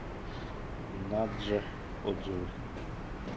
наджа отзывы